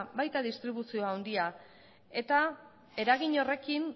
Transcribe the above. baita distribuzio handia eta eragin horrekin